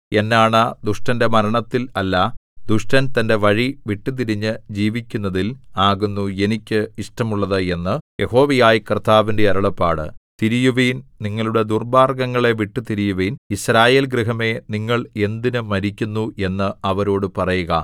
എന്നാണ ദുഷ്ടന്റെ മരണത്തിൽ അല്ല ദുഷ്ടൻ തന്റെ വഴി വിട്ടുതിരിഞ്ഞു ജീവിക്കുന്നതിൽ ആകുന്നു എനിക്ക് ഇഷ്ടമുള്ളത് എന്ന് യഹോവയായ കർത്താവിന്റെ അരുളപ്പാട് തിരിയുവിൻ നിങ്ങളുടെ ദുർമ്മാർഗ്ഗങ്ങളെ വിട്ടുതിരിയുവിൻ യിസ്രായേൽ ഗൃഹമേ നിങ്ങൾ എന്തിന് മരിക്കുന്നു എന്ന് അവരോടു പറയുക